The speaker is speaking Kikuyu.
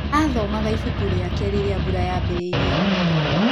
Aathomaga ibuku rĩake rĩrĩa mbura yaambĩrĩirie kuura.